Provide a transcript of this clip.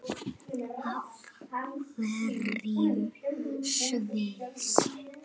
Af hverju Sviss?